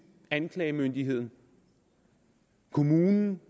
anklagemyndigheden kommunen